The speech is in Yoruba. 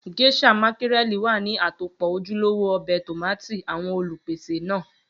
Geisha mákírẹ̀lì wà ní àtòpọ́ ojúlówó ọbẹ̀ tómátì àwọn Olùpèsè náà